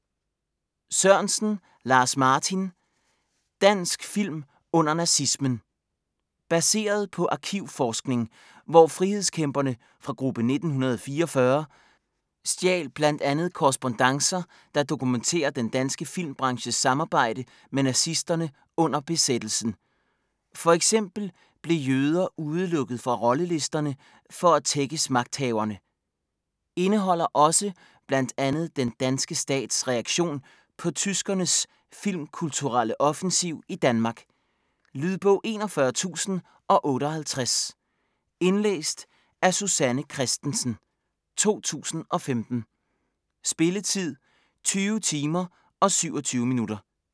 Sørensen, Lars-Martin: Dansk film under nazismen Baseret på arkivforskning, hvor frihedskæmperne fra Gruppe 1944 stjal bl.a. korrespondancer, der dokumenterer den danske filmbranches samarbejde med nazisterne under besættelsen. F.eks. blev jøder udelukket fra rollelisterne for at tækkes magthaverne. Indeholder også bl.a. den danske stats reaktion på tyskernes filmkulturelle offensiv i Danmark. Lydbog 41058 Indlæst af Susanne Kristensen, 2015. Spilletid: 20 timer, 27 minutter.